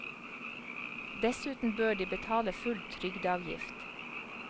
Dessuten bør de betale full trygdeavgift.